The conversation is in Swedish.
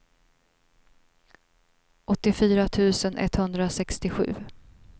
åttiofyra tusen etthundrasextiosju